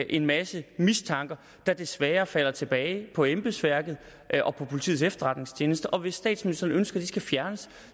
en masse mistanker der desværre falder tilbage på embedsværket og på politiets efterretningstjeneste og hvis statsministeren ønsker at de skal fjernes